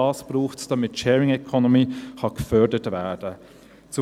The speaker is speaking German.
Auch dies braucht es, damit die Sharing Economy gefördert werden kann.